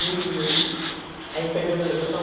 E a impermeabilização.